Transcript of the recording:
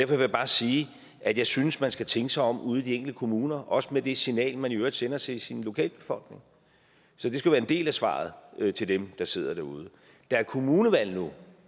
vil jeg bare sige at jeg synes man skal tænke sig om ude i de enkelte kommuner også med det signal man i øvrigt sender til sin lokalbefolkning så det skal være en del af svaret til dem der sidder derude der er kommunevalg nu